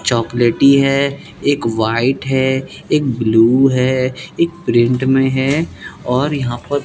चॉकलेटी है एक व्हाइट है एक ब्लू है एक प्रिंट में है और यहां पर --